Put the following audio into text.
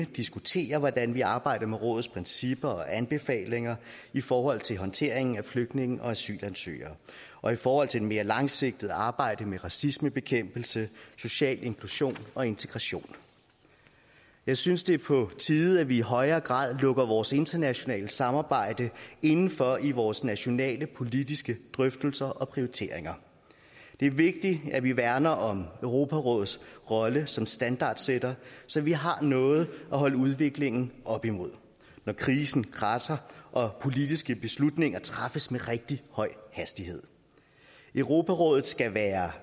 diskuterer hvordan vi arbejder med rådets principper og anbefalinger i forhold til håndteringen af flygtninge og asylansøgere og i forhold til det mere langsigtede arbejde med racismebekæmpelse social inklusion og integration jeg synes det er på tide at vi i højere grad lukker vores internationale samarbejde inden for i vores nationale politiske drøftelser og prioriteringer det er vigtigt at vi værner om europarådets rolle som standardsætter så vi har noget at holde udviklingen op imod når krisen kradser og politiske beslutninger træffes med rigtig høj hastighed europarådet skal være